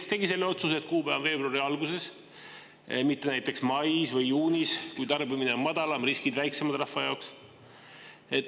Kes tegi selle otsuse, et see kuupäev on veebruari alguses, mitte näiteks mais või juunis, kui tarbimine on madalam, riskid väiksemad rahva jaoks?